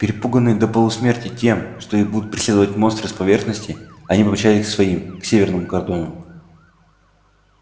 перепуганные до полусмерти тем что их будут преследовать монстры с поверхности они помчались к своим к северному кордону